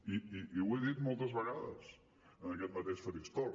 i ho he dit moltes vegades en aquest mateix faristol